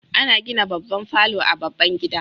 Ana gina babban falo a baban gida